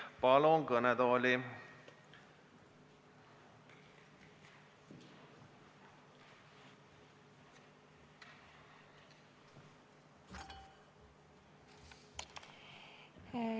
Palun kõnetooli!